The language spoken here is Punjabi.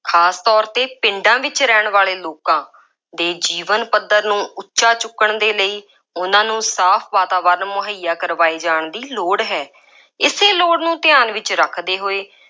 ਖਾਸ ਤੌਰ 'ਤੇ ਪਿੰਡਾਂ ਵਿੱਚ ਰਹਿਣ ਵਾਲੇ ਲੋਕਾਂ ਦੇ ਜੀਵਨ ਪੱਧਰ ਨੂੰ ਉੱਚਾ ਚੁੱਕਣ ਦੇ ਲਈ, ਉਹਨਾ ਨੂੰ ਸਾਫ ਵਾਤਾਵਰਨ ਮੁਹੱਇਆ ਕਰਵਾਏ ਜਾਣ ਦੀ ਲੋੜ ਹੈ। ਇਸੇ ਲੋੜ ਨੂੰ ਧਿਆਨ ਵਿੱਚ ਰੱਖਦੇ ਹੋਏ,